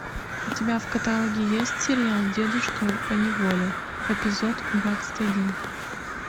у тебя в каталоге есть сериал дедушка поневоле эпизод двадцать один